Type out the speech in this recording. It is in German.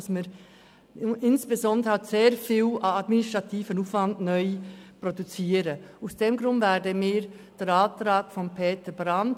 Insbesondere generieren wir damit einen neuen, grossen administrativen Aufwand.